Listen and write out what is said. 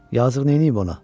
Yazıq neyniyib ona?